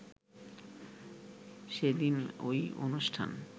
সেদিন ঐ অনুষ্ঠান